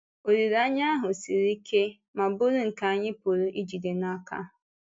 Olileanya ahụ siri ike ma bụrụ nke anyị pụrụ ijide n’aka.